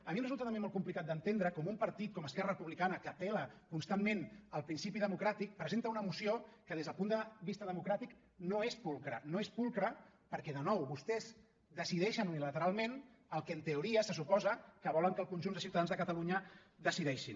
a mi em resulta també molt complicat d’entendre com un partit com esquerra republicana que apel·la constantment al principi democràtic presenta una moció que des del punt de vista democràtic no és pulcre no és pulcre perquè de nou vostès decideixen unilateralment el que en teoria se suposa que volen que el conjunt de ciutadans de catalunya decideixin